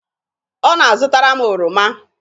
ọ na-azụtara m oroma